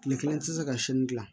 Kile kelen tɛ se ka si gilan